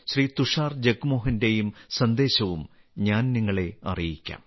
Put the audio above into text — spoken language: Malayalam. തുഷാർ ജഗ്മോഹന്റെയും സന്ദേശവും ഞാൻ നിങ്ങളെ അറിയിക്കാം